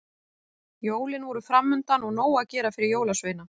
Jólin voru framundan og nóg að gera fyrir jólasveina.